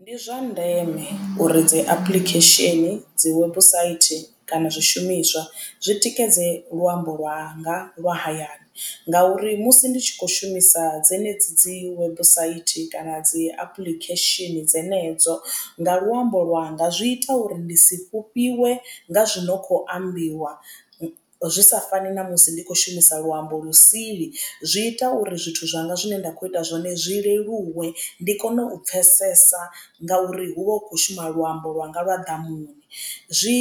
Ndi zwa ndeme uri dzi apuḽikhesheni dzi website kana zwishumiswa zwitikedze luambo lwanga lwa hayani. Ngauri musi ndi tshi kho shumisa dzenedzi dzi website kana dzi apuḽikhesheni dzenedzo nga luambo lwanga zwi ita uri ndi si fhufhiwe nga zwino kho ambiwa zwi sa fani na musi ndi kho shumisa luambo lu sili. Zwi ita uri zwithu zwanga zwine nda kho ita zwone zwi leluwe ndi kone u pfhesesa ngauri hu vha hu khou shuma luambo lwanga lwa ḓamuni. Zwi